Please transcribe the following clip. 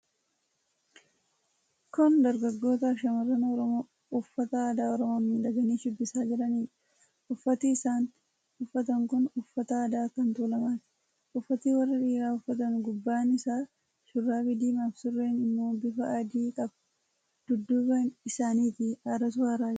Kun dargaggoota fi shamarran Oromoo uffata aadaa Oromoon miidhaganii shubbisaa jiranidha. Uffati isaan uffatan kun uffata aadaa kan tuulamaati. Uffati warri dhiiraa uffatan gubbaa isaa shurraabii diimaa fi sureen ammoo bifa adii qaba. Dudduuba isaanitii aaratu aaraa jira.